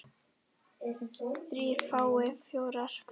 þrír fái fjóra hver